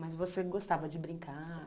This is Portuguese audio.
Mas você gostava de brincar?